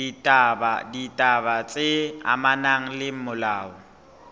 ditaba tse amanang le molao